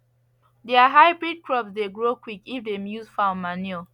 their hybrid crops dey grow quick if dem use fowl manure